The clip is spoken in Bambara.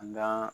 An ga